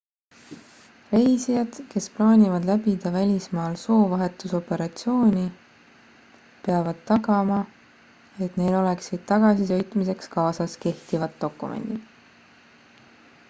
reisijad kes plaanivad läbida välismaal soovahetusoperatsiooni peavad tagama et neil oleksid tagasisõitmiseks kaasas kehtivad dokumendid